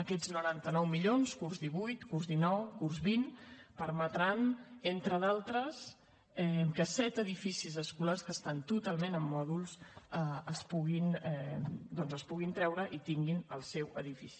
aquests noranta nou milions curs divuit curs dinou curs vint permetran entre d’altres que set edificis escolars que estan totalment en mòduls es puguin doncs treure i tinguin el seu edifici